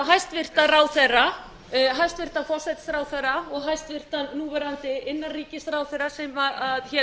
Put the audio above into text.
á hæstvirta ráðherra hæstvirtur forsætisráðherra og hæstvirtur núverandi innanríkisráðherra sem hét